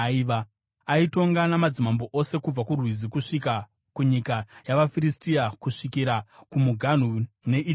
Aitonga madzimambo ose kubva kuRwizi kusvika kunyika yavaFiristia kusvikira kumuganhu neIjipiti.